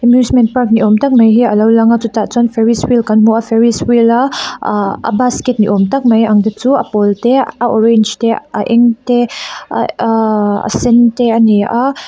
amusement park ni awm tak mai hi a lo lang a chutah chuan ferris wheel kan hmu a ferris wheel a uhh a basket ni awm tak mai ang te chu a pawl te a orange te a eng te a eih aaa a sen te a ni a.